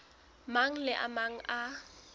mang le a mang a